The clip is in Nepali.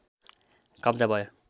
कब्जा भयो